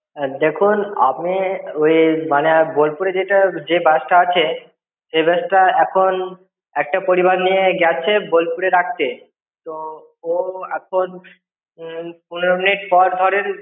দেখুন আপনি ওই মানে বোলপুরে যেটা যে বাসটা আছে, সে বাসটা এখন একটা পরিবার নিয়ে গেছে বোলপুরে রাখতে। তো, ও এখন উম পনের মিনিট পর ধরেন